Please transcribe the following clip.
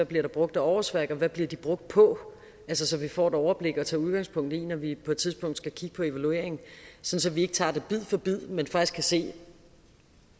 bliver brugt af årsværk hvad de bliver brugt på så så vi får et overblik at tage udgangspunkt i når vi på et tidspunkt skal kigge på evaluering så så vi ikke tager det bid for bid men faktisk kan se